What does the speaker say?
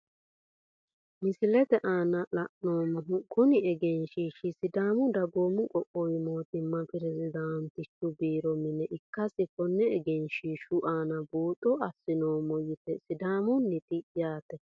Misilete aana la`neemohu kuni egeenshshishi sidaamu dagoomu qoqqowu mootimma pirezdantichuborro mine ikase kone egenshshishu aana buuxo asinoomo yaate sidaamunita yaate.